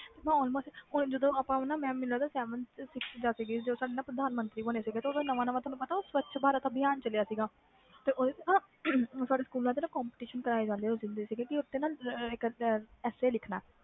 ਹੂ ਜਦੋ ਆਪਾ ਮੈਨੂੰ ਲਗਦਾ ਮੈਂ seventh sixth ਵਿਚ ਸੀ ਜਦੋ ਪ੍ਰਧਾਨਮੰਤਰੀ ਬਣੇ ਸੀ ਨਾਵਾਂ ਨਾਵਾਂ ਸਵੱਚ ਅਭਿਮਾਨ ਚਲਿਆ ਸੀ ਗਾ ਤੇ ਸਾਡੇ ਸਕੂਲ ਵਿਚ comoetition ਕਰਵਾਏ ਜਾਂਦੇ ਸੀ ਕਿ ਓਸਤੇ ਇਕ easy ਲਿਖਣਾ